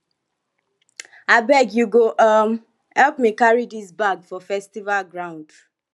abeg you go um help me carry dis bag for festival ground